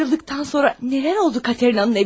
Mən ayrıldıqdan sonra nələr oldu Katerinanın evində?